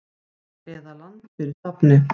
eða Land fyrir stafni.